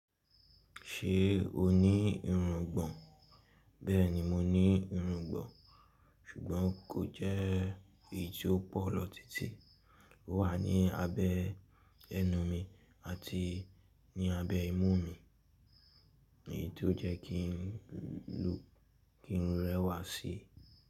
Ṣé o ní irungbọn? Bẹ́ẹ̀ni mo ní irungbọn, ṣùgbọ́n kò jẹ́ èyí tó pọ̀ lọ títí. Ó wà ní abẹ́ ẹnu mi àti ní abẹ́ imú mi, èyí tó jẹ́ kín rẹwà síi.